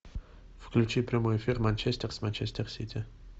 включи прямой эфир манчестер с манчестер сити